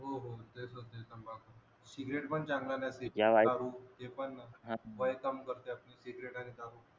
cigarette पण चांगला नसते दारू ते पण वय काम करते आपलं सिगरेट आणि दारू